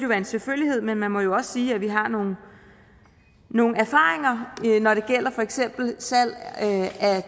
være en selvfølgelighed men man må jo også sige at vi har nogle nogle erfaringer når det for eksempel gælder salg af